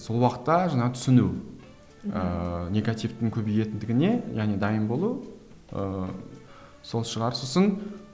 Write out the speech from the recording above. сол уақытта жаңағы түсіну ыыы негативтің көбейетіндігіне және дайын болу ыыы сол шығар сосын